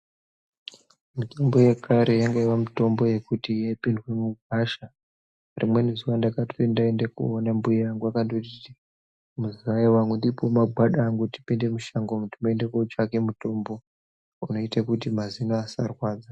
Mitombo yekare yaive mitombo yekuti yaipindirwa mugwasha , rimweni zuwa ndakati ndaende koona mbuya angu akanditi muzaya wangu ndipowo magwada angu tipinde mushango umu timboende kutsvake mutombo unoita kuti mazino asarwadza.